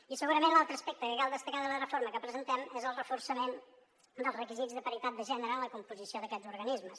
i segurament l’altre aspecte que cal destacar de la reforma que presentem és el reforçament dels requisits de paritat de gènere en la composició d’aquests organismes